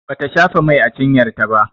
Bata shafa mai a cinyar ta ba